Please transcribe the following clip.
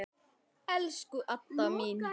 Elsku Adda mín.